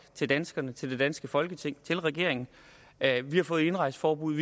til danskerne til det danske folketing til regeringen at de har fået et indrejseforbud